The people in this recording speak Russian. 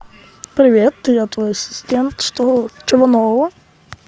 привет я твой ассистент что чего нового